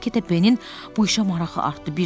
Get-gedə Benin bu işə marağı artdı.